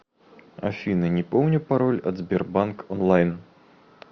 афина не помню пароль от сбербанк онлайн